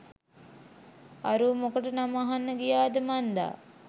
අරූ මොකට නම අහන්න ගියාද මන්දා